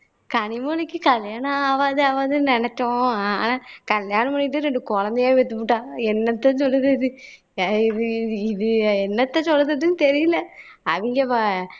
கனிமொழிக்கு கல்யாணம் ஆவாது ஆவாதுன்னு நினைச்சோம் ஆனா கல்யாணம் பண்ணிட்டு ரெண்டு குழந்தையே பெத்துப்புட்டா என்னத்த சொல்லுதது எ இது இது இது இது என்னத்த சொல்லுறதுன்னு தெரியல அவிங்க